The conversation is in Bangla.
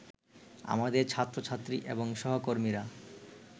আমাদের ছাত্র-ছাত্রী এবং সহকর্মীরা